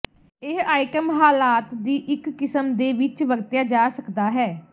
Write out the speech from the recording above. ਇਹ ਆਈਟਮ ਹਾਲਾਤ ਦੀ ਇੱਕ ਕਿਸਮ ਦੇ ਵਿੱਚ ਵਰਤਿਆ ਜਾ ਸਕਦਾ ਹੈ